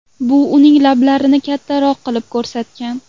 Bu uning lablarini kattaroq qilib ko‘rsatgan.